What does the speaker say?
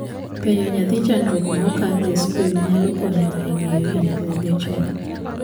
Penjo nyathi chandruok ma okadhe skul nyalo konyo e geng'o hinyruoge chon.